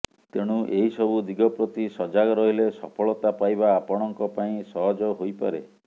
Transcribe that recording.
ତେଣୁ ଏହି ସବୁ ଦିଗପ୍ରତି ସଜାଗ ରହିଲେ ସଫଳତା ପାଇବା ଆପଣଙ୍କ ପାଇଁ ସହଜ ହୋଇପାରେ